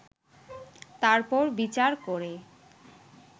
তারপর বিচার করে